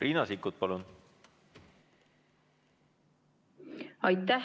Riina Sikkut, palun!